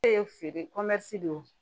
E ye feere don